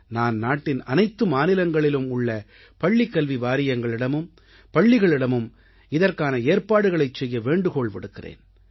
நான் நாட்டின் அனைத்து மாநிலங்களிலும் உள்ள பள்ளிக்கல்வி வாரியங்களிடமும் பள்ளிகளிடமும் இதற்கான ஏற்பாடுகளைச் செய்ய வேண்டுகோள் விடுக்கிறேன்